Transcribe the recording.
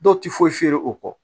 Dɔw tɛ foyi feere o kɔ